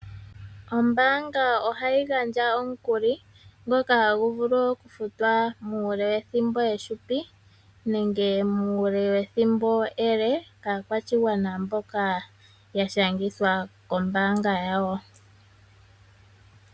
Ombaanga ohayi gandja omukuli ngoka hagu vulu okufutwa muule wethimbo ehupi nenge muule wethimbo ele, kaakwashigwana mboka ya shangithwa kombaanga yawo.